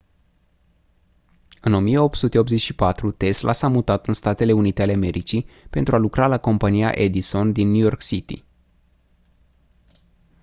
în 1884 tesla s-a mutat în statele unite ale americii pentru a lucra la compania edison din new york city